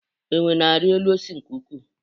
Enwe na-arị elu osisi nke ukwuu